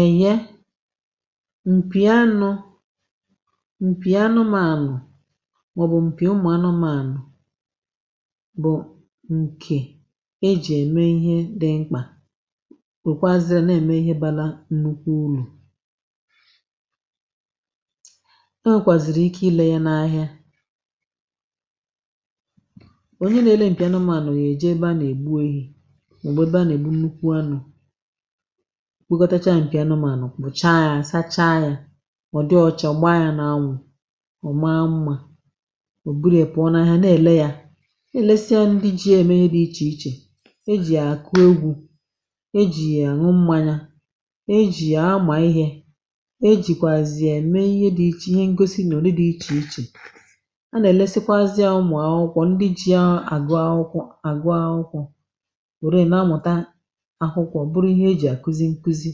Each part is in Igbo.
Eye, mpì anụ̇ mpì anụ̇mȧnụ̇ màọ̀bụ̀ mpì ụmụ̀ anụmȧnụ̇ bụ̀ ǹkè ejì ème ihe dị mkpà wèkwazirị ya na-ème ihe balȧ nnukwu ulù. E nwèkwàzìrì ike ilė ya n’ahịa. Onye nèle mpì anụmȧnụ̇ yà-èje ebe a nà-ègbu ehi̇ mà ọ̀ bụ̀ ebe a nà-ègbu nnukwu anụ̇ kwekọtacha mpị̀ anụmànụ̀ kpụ̀cha yȧ sacha yȧ ọ̀ dị ọcha gbaa yȧ n’anwụ̇, ọ̀ maa mmȧ ò burie pụ̀ọ n’ahịa nà èle yȧ nèlesia ndị ji yème ihe dị ichè ichè. E jì yàkụ egwù, e jì yà anwụ mmȧmyȧ, e jì àma ihė, e jìkwàzì yà ème ihe dị̇ ichè ihe ngosi nụdị dị̇ ichè ichè a nà èlesikwazị àmụ̀ akwụkwọ ndị ji yàgụ̇ akwụkwọ àgụ akwụkwọ weeriye na-amụta akwụkwọ bụrụ ihe e ji akụzi nkụzi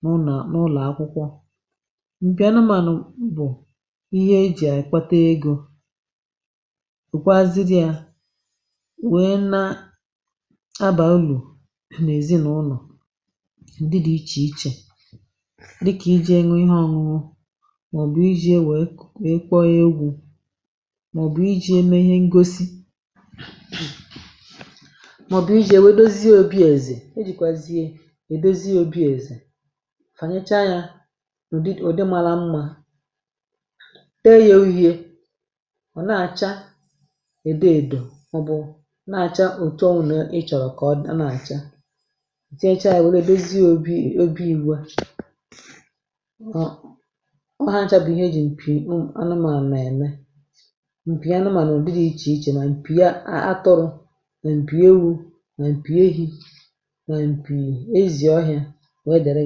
n'ụnọ nụlaakwụkwọ. Mpị anụmànụ̀ bụ̀ ihe e jì àkpata egȯ, wekwaziri yà wèe na abà ulu nà nèzinụnọ̀ nụdị dị̇ ichè ichè dịkà iji̇ ye ṅụọ ihe ọ̇ñụ̇ñụ̇ màọbụ̇ iji̇ ye wèe wèe kpọọ egwu̇ màọbụ̇ iji̇ yeme ihe ngosi màọbụ̇ iji̇ yèwedòzìe òbi èzè. E jikwaziyedozi obi eze, fànyechaa yȧ nụ̀dị ụ̀dị mara mmȧ, tee ya uhie, ọ̀ na-àcha èdo èdo mọ bụ̀ na-àcha òtù ọ nà ị chọ̀rọ̀ kà ọ dị̀ ọ na-àcha tinyechaya wèe neèdozi obi obi igwe ọ um hȧ acha bụ̀ ihe m̀pì ụm anụmànụ ème. Mpì anụmànụ ụ̀dị̀ dị ichè ichè mà m̀pì atụrụ̇, mà m̀pì ewu̇ mà m̀pì ehi̇, ma mpi ezi ọhịa wee dere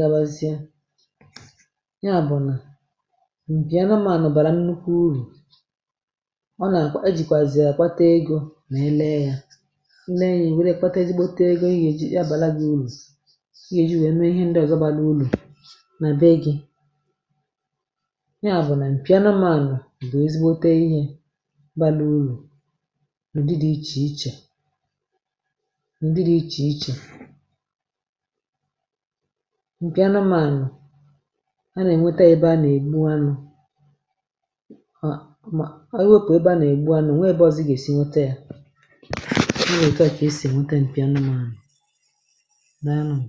gawazịa. Nya bụ̀ nà mpi anụmànụ̀ bàrà nnukwu urù, ọ nà akp ejìkwàzì yàkpata egȯ nà ele ya. I le ya i were ya kpatezigbote egȯ ị yèji abàla gị urù, ị gèji wee mee ihe ndị ọ̀zọ bala ulù nà be gị. Nya bụ̀ nà mpianụmànụ̀ bụ̀ ezigbote ihė bȧlịa ulù ǹụdi dị̇ ichè ichè ǹụdi dị̇ ichè ichè. Mpi anụmanụ, a nà-ènweta yebe a nà-ègbu anụ̇ um um ewepụ̀ ebe a nà-ègbu anụ̇, o nwee ebe ọ̀zịgà-èsi nwete yȧ. Ọ etua kà e sì ènwete m̀pì anụmànụ̀, daalụnụ.